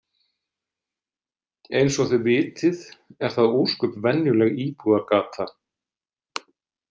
Eins og þið vitið er það ósköp venjuleg íbúðargata.